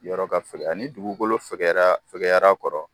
Yɔrɔ ka fɛgɛya ani dugukolo fɛgɛyara fɛgɛyar'a kɔrɔ.